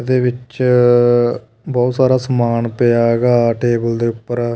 ਦੇ ਵਿੱਚ ਬਹੁਤ ਸਾਰਾ ਸਮਾਨ ਪਿਆ ਹੈਗਾ ਟੇਬਲ ਦੇ ਉੱਪਰ।